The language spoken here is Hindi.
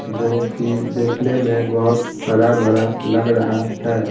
जो कि देखने में बहुत हरा भरा लग रहा है।